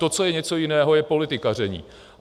To, co je něco jiného, je politikaření.